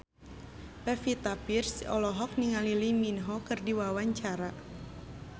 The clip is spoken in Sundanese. Pevita Pearce olohok ningali Lee Min Ho keur diwawancara